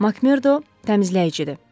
MakMerdo təmizləyicidir.